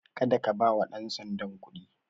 Kada ka bawa ɗan sandan kuɗi.